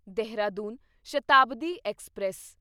Dehradun Shatabdi express